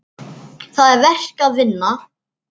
Það er verk að vinna.